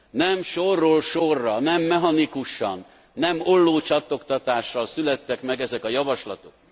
Nem sorról sorra, nem mechanikusan, nem ollócsattogtatással születtek meg ezek a javaslatok.